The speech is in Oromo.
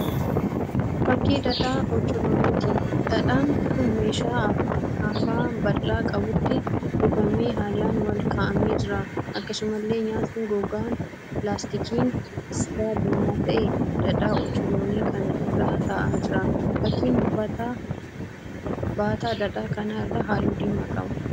Fakkii dhadhaa ocholooniiti. Dhadhaan kun meeshaa afaab bal'aa qabutti kuufamee haalan wal ka'amee jira. Akkasumallee nyaati gogaan laastikiin isaa diimaa ta'e dhadhaa ocholoonii kana irra ta'aa jira. Fakkiin baataa dhadhaa kana irraa halluu diimaa qaba.